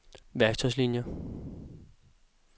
værktøjslinier